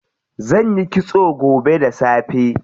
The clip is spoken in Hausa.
Zanyi kitso gobe da safe.